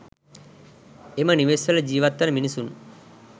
එම නිවෙස් වල ජිවත් වන මිනිසුන්